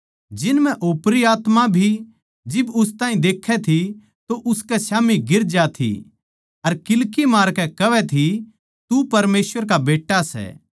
जिन म्ह ओपरी आत्मा भी जिब उस ताहीं देखै थी तो उसकै स्याम्ही गिर ज्या थी अर किल्की मारकै कहवै थी तू परमेसवर का बेट्टा सै